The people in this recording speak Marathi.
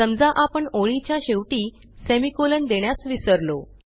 समजा आपण ओळीच्या शेवटी सेमिकोलॉन देण्यास विसरलो